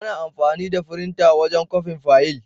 Ana amfani da firinta wajen kwafin fayil.